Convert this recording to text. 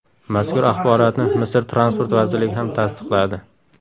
Mazkur axborotni Misr Transport vazirligi ham tasdiqladi.